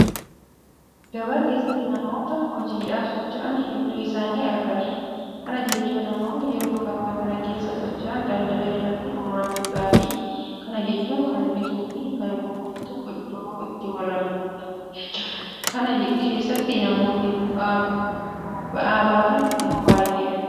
Gabaa keessatti namoota hojiidhaaf socho'an hedduu isaanii agarra. Kana jechuun namoonni yeroo gabaa kana keessa socho'an daldala irratti hirmaachuudhaafi. Kana jechuun kan bituufi kan gurguratu iddoo itti walargudha jechuudha. Kana keessatti namoonni ba'aa baatan immoo baay'ee fayyadamoo ta'uu isaanii agarra.